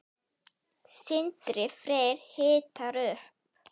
Sindri Freyr hitar upp.